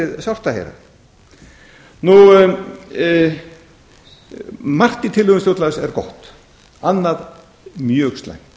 það þykir mér dálítið sárt að heyra margt í tillögum stjórnlagaráðs er gott annað mjög slæmt